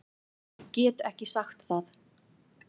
Get ekki sagt það.